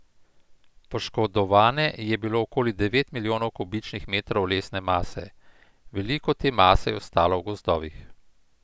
Poškodovane je bilo okoli devet milijonov kubičnih metrov lesne mase, veliko te mase je ostalo v gozdovih.